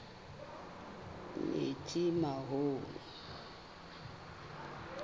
metsimaholo